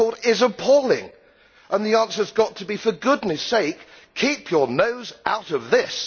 Your record is appalling and the answer has got to be, for goodness' sake, keep your nose out of this.